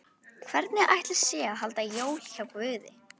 Hvernig ætli sé að halda jól hjá Guði?